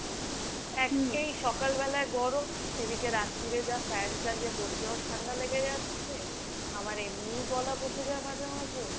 একে কালবেলা গরম, এদিকে রাত্তিরে যা fan চালিয়ে বসলেও ঠান্ডা লেগে যাচ্ছে। আমার এমনিই গলা বসে যায় মাঝে মাঝে।